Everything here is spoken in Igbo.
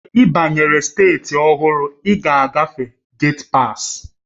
Mgbe ị banyere steeti ọhụrụ, ị ga-agafe getpas